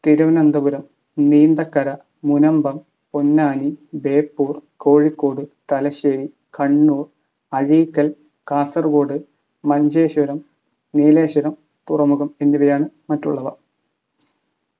തിരുവനന്തപുരം നീന്തക്കര മുനമ്പം പൊന്നാനി ബേപ്പൂർ കോഴിക്കോട് തലശ്ശേരി കണ്ണൂർ അഴീക്കൽ കാസർഗോഡ് മഞ്ചേശ്വരം നീലേശ്വരം തുറമുഖം എന്നിവയാണ് മറ്റുള്ളവ.